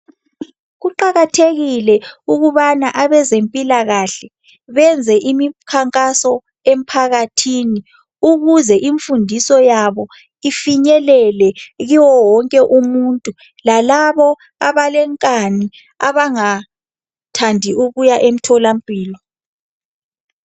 Kuqakathekile ukubana abezempilakahle benze imikhankaso emphakathini ukuze imfundiso yabo ifinyelele kuye wonke umuntu lalabo abalenkani abangathandi ukuya emtholampil.